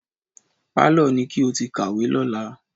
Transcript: Pálọ̀ ni kí o ti kàwé lọ́la.